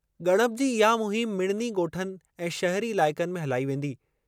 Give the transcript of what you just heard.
ॻणप जी इहा मुहिम मिड़नी ॻोठनि ऐं शहरी इलाइक़नि में हलाई वेंदी।